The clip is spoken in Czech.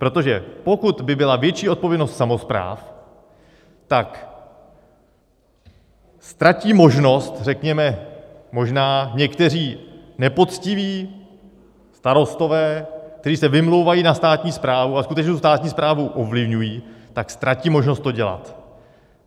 Protože pokud by byla větší odpovědnost samospráv, tak ztratí možnost řekněme možná někteří nepoctiví starostové, kteří se vymlouvají na státní správu a skutečně tu státní správu ovlivňují, tak ztratí možnost to dělat.